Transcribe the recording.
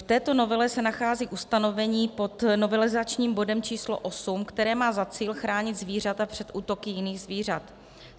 V této novele se nachází ustanovení pod novelizačním bodem číslo 8, které má za cíl chránit zvířata před útoky jiných zvířat.